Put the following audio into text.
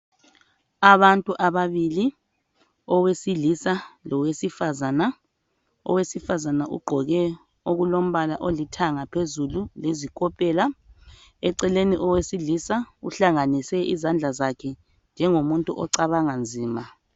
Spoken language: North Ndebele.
Abantu ababili owesilisa lowesifazana owesifazana ugqoke okulombala olithanga phezulu lezikopela eceleni owesilisa uhlanganise izandla zakhe njengomuntu ocabanga nzima